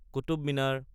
Qutub Minar